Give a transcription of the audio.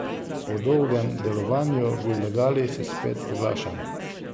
Po dolgem delovanju v ilegali se spet oglašam.